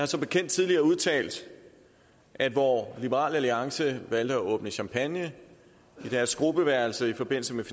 som bekendt tidligere udtalt at hvor liberal alliance valgte at åbne champagneflasker i deres gruppeværelse i forbindelse med